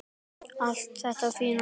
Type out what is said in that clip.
Allt þetta fína.